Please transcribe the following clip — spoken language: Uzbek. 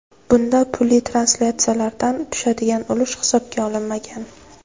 Bunda pulli translyatsiyalardan tushadigan ulush hisobga olinmagan.